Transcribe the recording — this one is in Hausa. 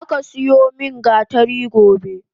Zaka siyo min gatari gobe!